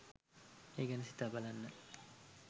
ඒ ගැන සිතා බලන්න